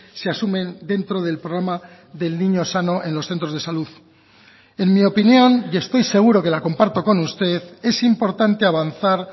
se asumen dentro del programa del niño sano en los centros de salud en mi opinión y estoy seguro que la comparto con usted es importante avanzar